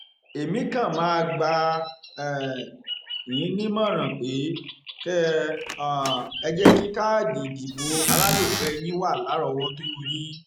èmi kan máa gbà um yín nímọràn pé kẹ um ẹ jẹ kí káàdì ìdìbò alálòpẹ yín wà lárọọwọtó yín ni